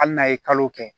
Hali n'a ye kalo kɛ